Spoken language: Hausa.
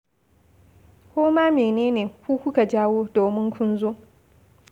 Ko ma mene ne ku kuka jawo, domin kun zo